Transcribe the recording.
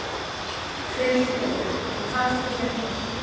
Hver ert þú eiginlega og hvað ert þú að gera hér?